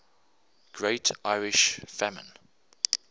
great irish famine